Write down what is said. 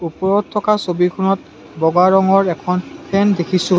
ওপৰত থকা ছবিখনত বগা ৰঙৰ এখন ফেন দেখিছোঁ।